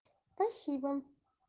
спасибо